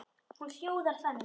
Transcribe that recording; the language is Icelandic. Hún hljóðar þannig